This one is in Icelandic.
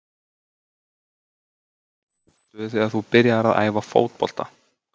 Hversu gamall varstu þegar þú byrjaðir að æfa fótbolta?